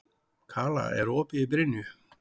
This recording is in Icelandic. Kala, er opið í Brynju?